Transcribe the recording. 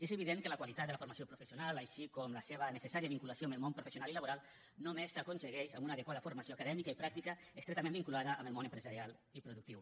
és evident que la qualitat de la formació professional així com la seva necessària vinculació amb el món professional i laboral només s’aconsegueix amb una adequada formació acadèmica i pràctica estretament vinculada amb el món empresarial i productiu